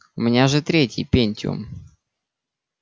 у меня же третий пентиум